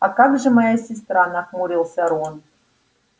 а как же моя сестра нахмурился рон